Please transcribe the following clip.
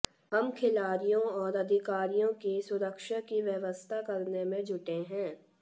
हम खिलाड़ियों और अधिकारियों की सुरक्षा की व्यवस्था करने में जुटे हैं